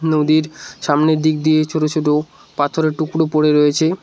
নদীর সামনের দিক দিয়ে ছোট ছোট পাথরের টুকরো পড়ে রয়েছে।